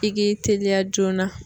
I k'i teliya joona.